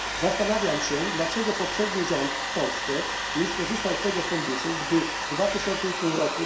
Zastanawiam się, dlaczego poprzedni rząd w Polsce nie skorzystał z tego Funduszu, gdy w 2008 r.